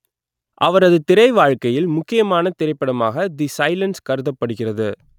அவரது திரைவாழ்க்கையில் முக்கியமான திரைப்படமாக தி சைலன்ஸ் கருதப்படுகிறது